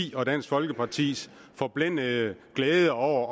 ti og dansk folkapartis forblændede glæde over